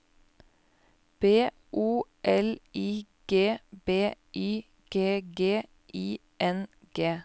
B O L I G B Y G G I N G